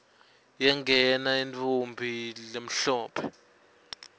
yangena intfombi lemhlophe